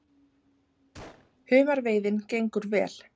Humarveiðin gengur vel